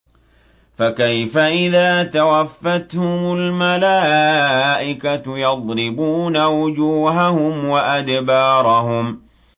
فَكَيْفَ إِذَا تَوَفَّتْهُمُ الْمَلَائِكَةُ يَضْرِبُونَ وُجُوهَهُمْ وَأَدْبَارَهُمْ